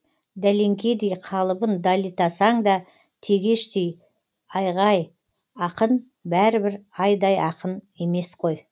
дәлеңкедей қалыбын далитасаң да тегештей айғай ақын бәрібір айдай ақын емес қой